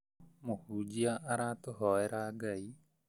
Mũhunjia aratũ hoera Ngai